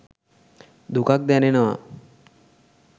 දුකක් දැනෙනව